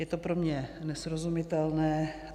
Je to pro mě nesrozumitelné.